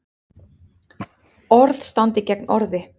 Orð standi gegn orði